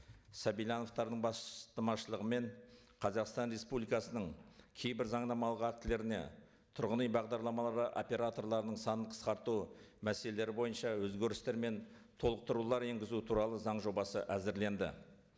сабильяновтардың бастамашылығымен қазақстан республикасының кейбір заңнамалық актілеріне тұрғын үй бағдарламаларға операторларының санын қысқарту мәселелері бойынша өзгерістер мен толықтырулар енгізу туралы заң жобасы әзірленді